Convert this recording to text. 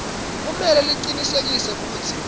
kumele licinisekise kutsi